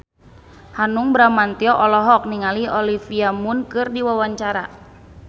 Hanung Bramantyo olohok ningali Olivia Munn keur diwawancara